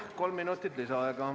Kolm minutit lisaaega.